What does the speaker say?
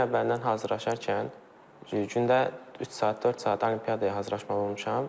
İllər əvvəldən hazırlaşarkən, gündə üç saat, dörd saat olimpiadaya hazırlaşmalı olmuşam.